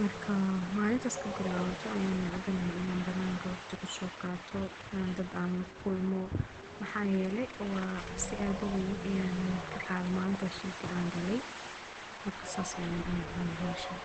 marka malintaas kabilawathoh aya nacabanahay Ina bananka waqdi kusoqatoh aa dad lakulmoh waxayeelay cabsi aa u weeyn Aya kaqathay malinta sheerka aa kalay marka sas aya u nacabanahay hoshan.